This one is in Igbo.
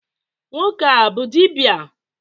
nwoke a bu dibia?